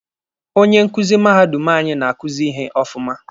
Onye nkuzi mahadum anyị na-akuzi ihe ọfụma.